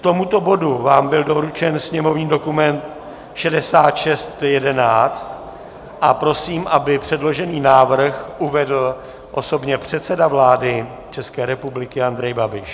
K tomuto bodu vám byl doručen sněmovní dokument 6611 a prosím, aby předložený návrh uvedl osobně předseda vlády České republiky Andrej Babiš.